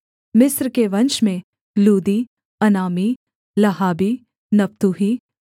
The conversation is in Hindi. मिस्र के वंश में लूदी अनामी लहाबी नप्तूही